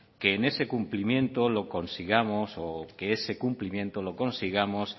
que en ese cumplimiento lo consigamos o que ese cumplimiento lo consigamos